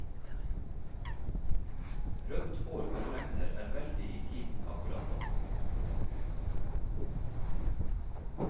Rødt hår og fregner er veldig i tiden akkurat nå.